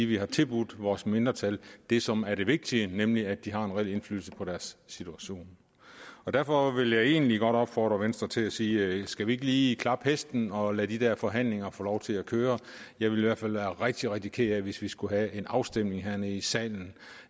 vi har tilbudt vores mindretal det som er det vigtige nemlig at de har en reel indflydelse på deres situation derfor vil jeg egentlig godt opfordre venstre til at sige skal vi ikke lige klappe hesten og lade de der forhandlinger få lov til at køre jeg vil i hvert fald være rigtig rigtig ked af hvis vi skulle have en afstemning hernede i salen